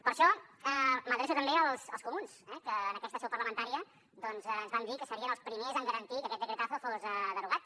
per això m’adreço també als comuns eh que en aquesta seu parlamentària doncs ens van dir que serien els primers en garantir que aquest decretazo fos derogat